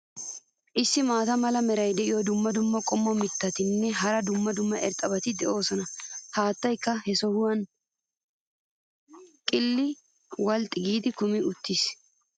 Issi maata mala meray diyo dumma dumma qommo mitattinne hara dumma dumma irxxabati de'oosona. haattaykka ha sohuwan qilxxi walxxi giidi kumi uttiis.